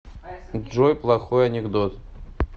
джой плохой анекдот